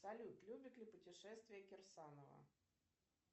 салют любит ли путешествия кирсанова